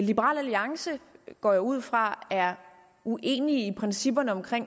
liberal alliance går jeg ud fra er uenige i principperne for